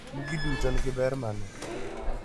mgi duto nigi ber mane?